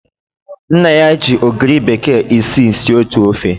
Nna ya ji ogiri bekee isii sie otu Ofe